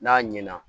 N'a ɲɛna